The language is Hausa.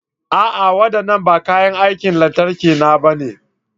A'a! Waɗannan ba kayan aikin lantarki na bane.